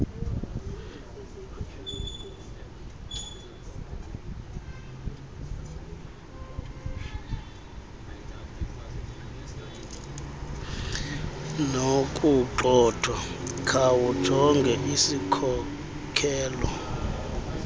nokugxothwa khawujonge isikhokelo